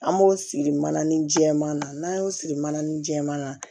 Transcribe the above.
An b'o siri mana ni jɛman na n'an y'o siri mananin jɛman na